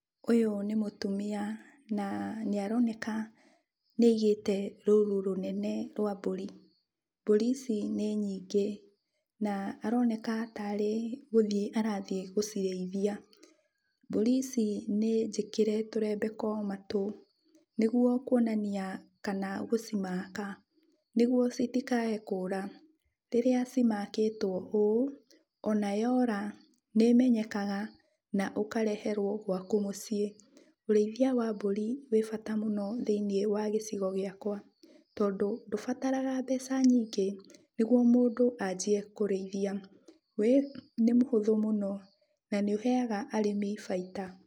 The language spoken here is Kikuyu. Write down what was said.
Ũyu nĩ mũtumia na nĩaroneka nĩaigĩte rũru rũnene rwa mbũri. Mbũri icic nĩ nyingĩ, na aronekana tarĩ gũthiĩ athiĩ gũcirĩithia. Mbũri ici nĩnjĩkĩre tũrembeko matũ, nĩguo kuonania kana gũcimaka, nĩguo citikae kũra. Rĩrĩa cimakĩtwo ũũ, ona yora nĩĩmenyekaga na ũkareherwo gwaku mũciĩ. Ũrĩthia wa mbũri wĩ bata mũno thĩiniĩ wa gĩcigo gĩakwa, tondũ ndũbataraga mbeca nyingĩ nĩguo mũndũ anjie gũcirĩithia, wĩ, nĩ mũhũthũ mũno na nĩũheaga arĩmi baita.